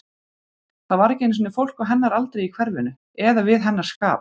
Það var ekki einu sinni fólk á hennar aldri í hverfinu, eða við hennar skap.